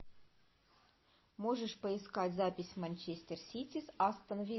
можешь поискать запись манчестер сити с астон виллой